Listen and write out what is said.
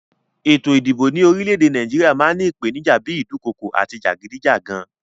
Ètò ìdìbò ní orílẹ èdè Naíjiria máa n ni ìpènijà bi ìdukokò àti jàgídíjàgan